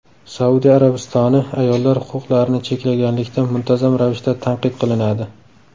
Saudiya Arabistoni ayollar huquqlarini cheklaganlikda muntazam ravishda tanqid qilinadi.